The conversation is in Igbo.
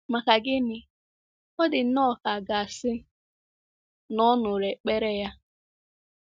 Maka gịnị, ọ dị nnọọ ka a ga-asị na ọ nụrụ ekpere ya!